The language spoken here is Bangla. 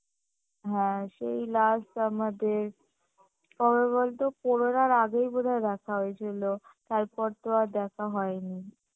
হ্যাঁ সেই last আমাদের কবে বলতো করোনার আগেই হয়তো দেখা হয়েছিলো তারপর তো আর দেখা হয়নি